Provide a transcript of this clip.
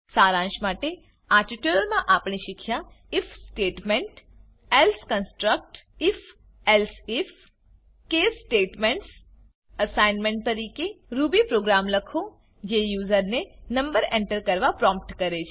સારાંશ માટે આ ટ્યુટોરીયલમાં આપણે શીખ્યા I F statement if statement else construct if construct if elsif અને if else case statements case statement assignment તરીકે160 રૂબી પ્રોગ્રામ લખો જે યુઝરને નંબર એન્ટર કરવા પ્રોમ્પ્ટ કરે છે